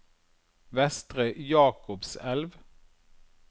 Vestre Jakobselv